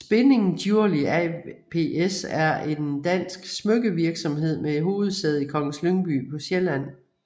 Spinning Jewelry ApS et en dansk smykkevirksomhed med hovedsæde i Kongens Lyngby på Sjælland